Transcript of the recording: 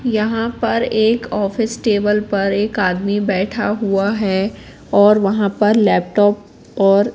यहां पर एक ऑफिस टेबल पर एक आदमी बैठा हुआ है और वहां पर लैपटॉप और--